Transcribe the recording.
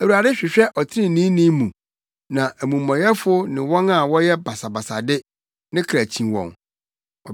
Awurade hwehwɛ ɔtreneeni mu, na amumɔyɛfo ne wɔn a wɔpɛ basabasayɛ de, ne kra kyi wɔn.